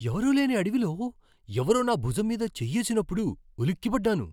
ఎవరూ లేని అడవిలో ఎవరో నా భుజం మీద చేయ్యేసినప్పుడు ఉలిక్కిపడ్డాను.